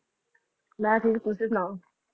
ਮੈਂ ਠੀਕ ਤੁਸੀਂ ਸੁਣਾਓ